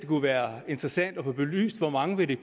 kunne være interessant at få belyst hvor mange det vil